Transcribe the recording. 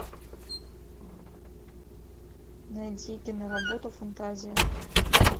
найди киноработу фантазия